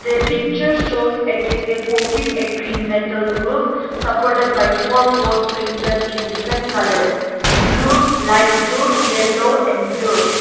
the picture shows a gazebo with a green metal roof supported by four post painted in different colours blue light blue yellow and blue.